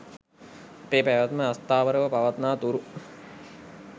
අපේ පැවැත්ම අස්ථාවරව පවත්නා තුරු